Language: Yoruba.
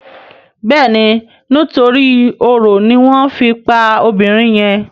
Béèni nítorí oro ní wón fè fí pá obìrin yen.